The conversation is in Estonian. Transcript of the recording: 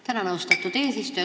Tänan, austatud eesistuja!